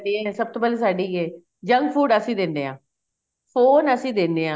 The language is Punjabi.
ਏ ਸਭ ਤੋਂ ਪਹਿਲਾਂ ਸਾਡੀ ਏ junk food ਅਸੀਂ ਦਿੰਦੇ ਆ phone ਅਸੀਂ ਦਿੰਨੇ ਆ